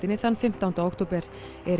þann fimmtánda október Erik